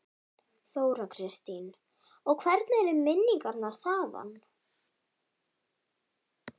Þóra Kristín: Og hvernig eru minningarnar þaðan?